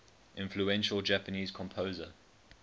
influential japanese composer